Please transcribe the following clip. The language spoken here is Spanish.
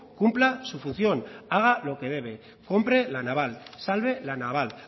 cumpla su función haga lo que debe compre la naval salve la naval